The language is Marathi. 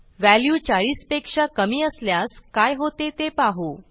व्हॅल्यू 40 पेक्षा कमी असल्यास काय होते ते पाहू